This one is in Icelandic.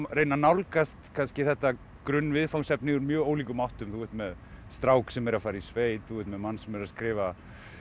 reyna að nálgast kannski þetta grunnviðfangsefni úr mjög ólíkum áttum þú ert með strák sem er að fara í sveit þú ert með mann sem er að skrifa